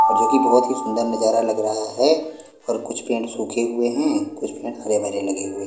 और जो कि बहुत ही सुंदर नजारा लग रहा है और कुछ पेंट सूखे हुए हैं कुछ पेंट हरे भरे लगे हुए--